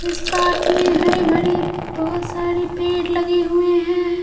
इस पार्क में हरे भड़े बहुत सारे पेड़ लगे हुए हैं।